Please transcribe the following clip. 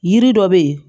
Yiri dɔ bɛ yen